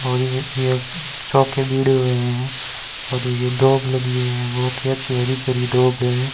और यह एक चौंके बीड़े हुए हैं और ये दोब लगी हैं बहुत ही अच्छी हरी भरी दोब है।